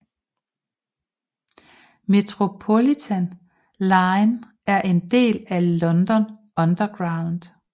Metropolitan line er en del af London Underground